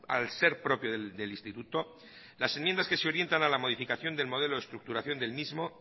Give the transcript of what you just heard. al ser propio del instituto las enmiendas que se orientan a la modificación del modelo de estructuración del mismo